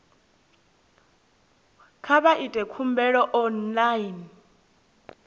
kha vha ite khumbelo online